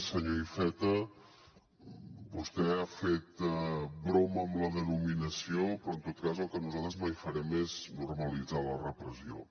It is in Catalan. senyor iceta vostè ha fet broma amb la denominació però en tot cas el que nosaltres mai farem és normalitzar la repressió